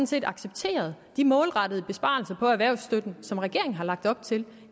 set accepteret de målrettede besparelser på erhvervsstøtten som regeringen har lagt op til